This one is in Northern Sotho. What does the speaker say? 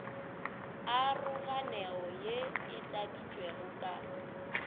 aroganego ye e tladitšwego ka